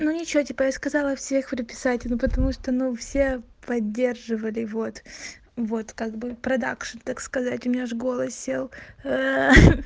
ну ничего типа я сказала всех приписать ну потому что ну все поддерживали вот вот как бы продакшн так сказать у меня аж голос сел ха-ха